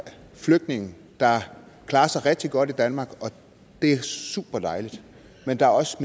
af flygtninge der klarer sig rigtig godt i danmark og det er superdejligt men der er også